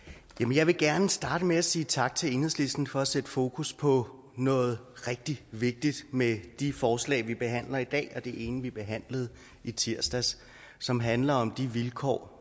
jeg vil gerne starte med at sige tak til enhedslisten for at sætte fokus på noget rigtig vigtigt med de forslag vi behandler i dag og det ene vi behandlede i tirsdags som handler om de vilkår